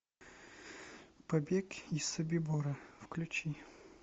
побег из собибора включи